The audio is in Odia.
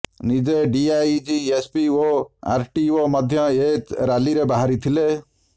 ନିଜେ ଡିଆଇଜି ଏସପି ଓ ଆରଟିଓ ମଧ୍ୟ ଏ ରାଲିରେ ବାହାରିଥିଲେ